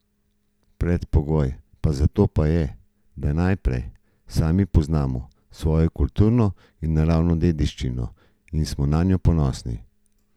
Predpogoj za to pa je, da najprej sami poznamo svojo kulturno in naravno dediščino in smo nanjo ponosni.